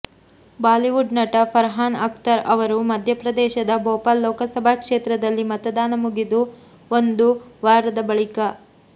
Bollywood ನಟ ಫರ್ಹಾನ್ ಅಖ್ತರ್ ಅವರು ಮಧ್ಯ ಪ್ರದೇಶದ ಭೋಪಾಲ್ ಲೋಕಸಭಾ ಕ್ಷೇತ್ರದಲ್ಲಿ ಮತದಾನ ಮುಗಿದು ಒಂದು ವಾರದ ಬಳಿಕ